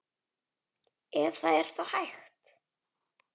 Ef það er þá hægt.